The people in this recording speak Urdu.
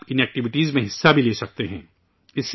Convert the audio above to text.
آپ ان ایکٹیویٹیز میں حصہ بھی لے سکتے ہیں